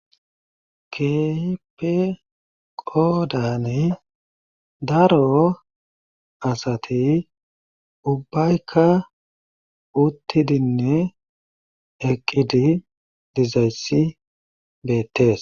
Keehippe qoodani daro asati ubayka utidinne eqqidi dizayssi beetees.